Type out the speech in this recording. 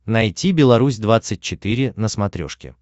найти беларусь двадцать четыре на смотрешке